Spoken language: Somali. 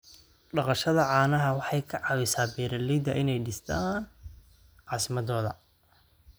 Dhaqashada caanaha waxay ka caawisaa beeralayda inay dhistaan ??caasimadooda.